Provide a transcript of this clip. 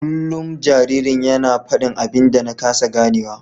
Kullum jaririn yana fadin abin da na kasa ganewa.